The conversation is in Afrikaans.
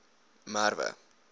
merwe